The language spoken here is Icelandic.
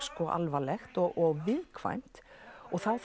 alvarlegt og viðkvæmt og þá